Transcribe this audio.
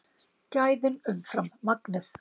Gæðin umfram magnið